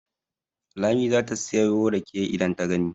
Lami za ta sayo rake idan ta gani.